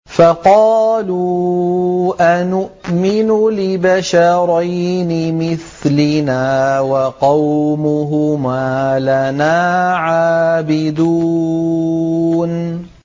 فَقَالُوا أَنُؤْمِنُ لِبَشَرَيْنِ مِثْلِنَا وَقَوْمُهُمَا لَنَا عَابِدُونَ